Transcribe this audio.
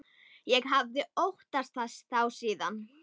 Ég hafði óttast þá síðan.